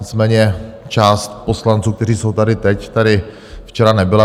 Nicméně část poslanců, kteří jsou tady teď, tady včera nebyla.